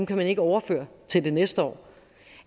kan man ikke overføre til det næste år